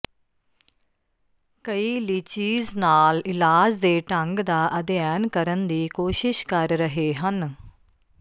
ਕਈ ਲੀਚੀਜ਼ ਨਾਲ ਇਲਾਜ ਦੇ ਢੰਗ ਦਾ ਅਧਿਐਨ ਕਰਨ ਦੀ ਕੋਸ਼ਿਸ਼ ਕਰ ਰਹੇ ਹਨ